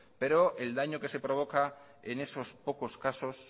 pero el daño que se provoca en esos pocos casos